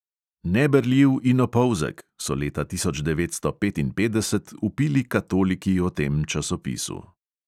"Neberljiv in opolzek," so leta tisoč devetsto petinpetdeset vpili katoliki o tem časopisu.